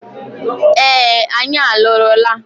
Ee, anyị alụrụla.